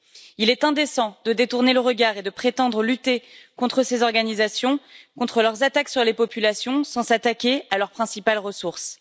Il est indécent de détourner le regard et de prétendre lutter contre ces organisations, contre leurs attaques sur les populations sans s'attaquer à leur principale ressource.